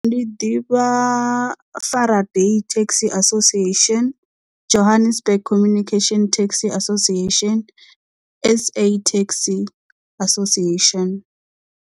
Ndi ḓivha Fara Dee Taxi Association Johannesburg Communication Taxi Association S_A Taxi Association.